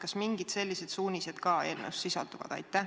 Kas mingid sellised suunised ka eelnõus sisalduvad?